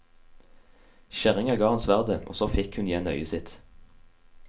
Kjerringa ga ham sverdet, og så fikk hun igjen øyet sitt.